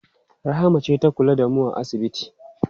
Rahama ce ta kula da mu a asibiti.